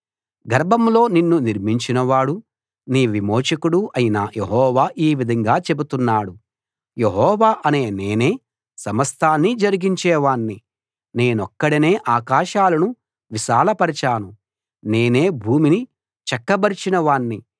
గర్భంలో నిన్ను నిర్మించినవాడు నీ విమోచకుడు అయిన యెహోవా ఈ విధంగా చెబుతున్నాడు యెహోవా అనే నేనే సమస్తాన్నీ జరిగించేవాణ్ణి నేనొక్కడినే ఆకాశాలను విశాలపరచాను నేనే భూమిని చక్కబరచిన వాణ్ణి